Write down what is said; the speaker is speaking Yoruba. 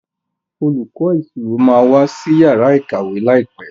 Olùkó ìṣirò má wá sí Yàrá ìkàwé láìpé.